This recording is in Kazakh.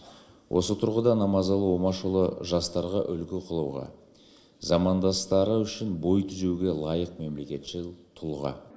осы тұрғыда намазалы омашұлы жастарға үлгі қылуға замандастары үшін бой түзеуге лайық мемлекетшіл тұлға